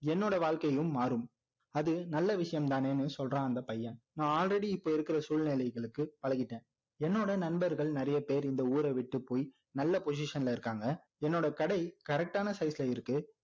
என்னோட வாழ்க்கையும் மாறும் இது நல்ல விஷயம் தானேன்னு சொல்றான அந்த பையன் நான் already இப்போ இருக்கிற சூழ்நிலைகளுக்கு பழகிட்டேன் என்னோட நண்பர்கள் நிறைய பேர் இந்த ஊர விட்டு போய் நல்ல postition ல இருக்காங்க என்னோட கடை correct டான size ல இருக்கு